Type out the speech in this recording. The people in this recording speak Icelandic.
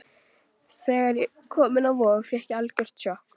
Þegar ég kom inn á Vog fékk ég algjört sjokk.